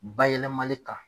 Bayɛlɛmali kan.